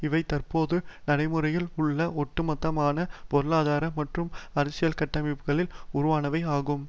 இவை தற்போது நடைமுறையில் உள்ள ஒட்டுமொத்தமான பொருளாதார மற்றும் அரசியல் கட்டமைப்புகளால் உருவானவை ஆகும்